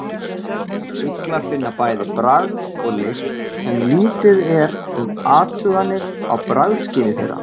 Fuglar finna bæði bragð og lykt en lítið er um athuganir á bragðskyni þeirra.